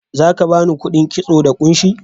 Za ka ba ni kuɗin kitso da kunshi?